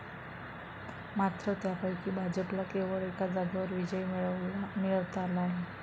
मात्र त्यापैकी भाजपला केवळ एका जागेवर विजय मिळवता आला आहे.